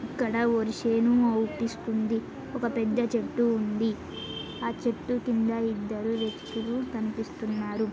ఇక్కడ వరి చేను అవ్వుపిస్తుంది ఒక పెద్ద చెట్టు ఉంది ఆ చెట్టు కింద ఇద్దరు వ్యక్తులు కనిపిస్తున్నారు.